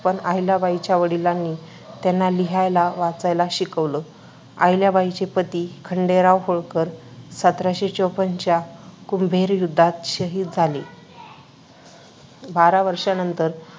पण अहिल्याबाईंच्या वडिलांनी त्यांना लिहायला-वाचायला शिकवलं. अहिल्याबाईंचे पती खंडेराव होळकर सतराशे चोपन्न च्या कुंभेरी युद्धात शहीद झाले. बारा वर्षांनंतर